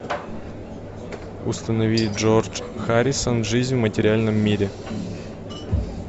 установи джордж харрисон жизнь в материальном мире